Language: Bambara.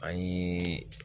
An ye